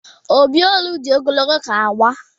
Obi olu di ogologo ka agba.